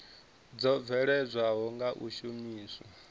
dzo bveledzwaho nga u shumiswa